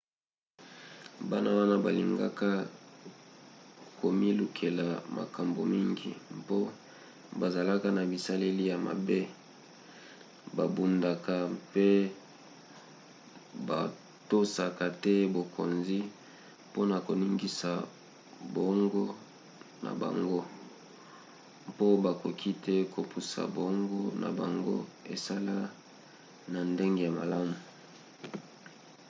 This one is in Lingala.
bana wana balingaka komilukela makambo mingi mpo bazalaka na bizaleli ya mabe babundaka mpe batosaka te bokonzi mpona koningisa boongo na bango mpo bakoki te kopusa boongo na bango esala na ndenge ya malamu